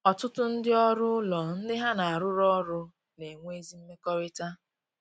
Ọtụtụ ndị ọrụ ụlọ ndị ha na arụ rụ ọrụ na-enwe ezi mmekọrịta